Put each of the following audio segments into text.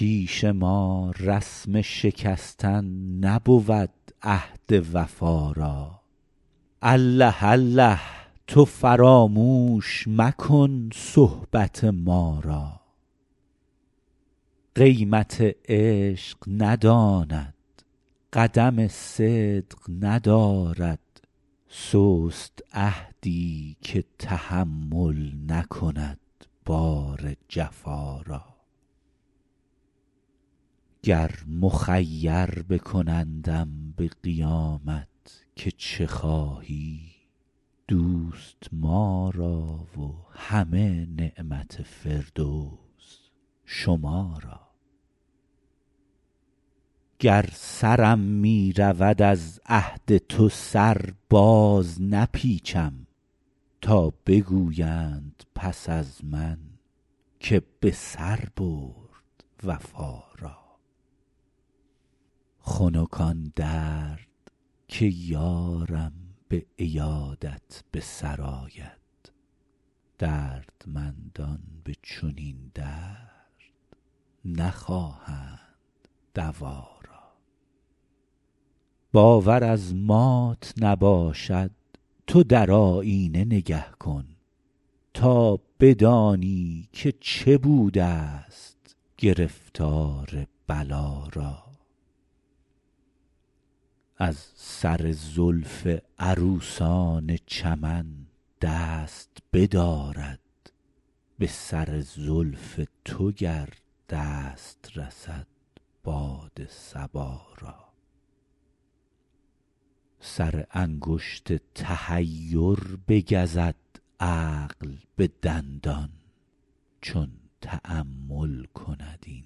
پیش ما رسم شکستن نبود عهد وفا را الله الله تو فراموش مکن صحبت ما را قیمت عشق نداند قدم صدق ندارد سست عهدی که تحمل نکند بار جفا را گر مخیر بکنندم به قیامت که چه خواهی دوست ما را و همه نعمت فردوس شما را گر سرم می رود از عهد تو سر بازنپیچم تا بگویند پس از من که به سر برد وفا را خنک آن درد که یارم به عیادت به سر آید دردمندان به چنین درد نخواهند دوا را باور از مات نباشد تو در آیینه نگه کن تا بدانی که چه بودست گرفتار بلا را از سر زلف عروسان چمن دست بدارد به سر زلف تو گر دست رسد باد صبا را سر انگشت تحیر بگزد عقل به دندان چون تأمل کند این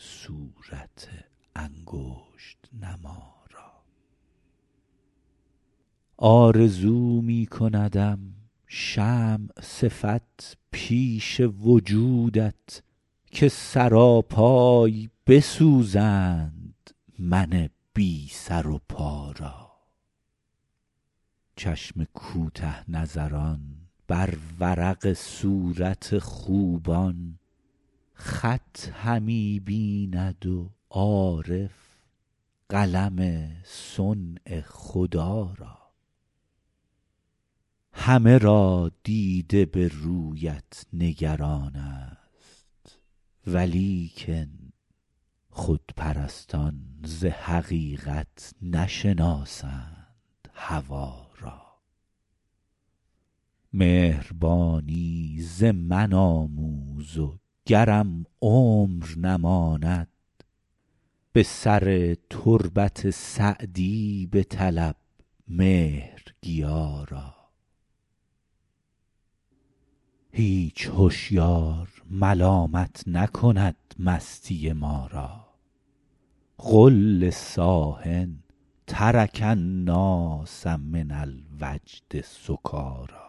صورت انگشت نما را آرزو می کندم شمع صفت پیش وجودت که سراپای بسوزند من بی سر و پا را چشم کوته نظران بر ورق صورت خوبان خط همی بیند و عارف قلم صنع خدا را همه را دیده به رویت نگران ست ولیکن خودپرستان ز حقیقت نشناسند هوا را مهربانی ز من آموز و گرم عمر نماند به سر تربت سعدی بطلب مهرگیا را هیچ هشیار ملامت نکند مستی ما را قل لصاح ترک الناس من الوجد سکاریٰ